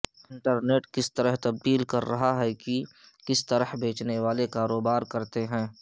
internet کس طرح تبدیل کر رہا ہے کہ کس طرح بیچنے والے کاروبار کرتے ہیں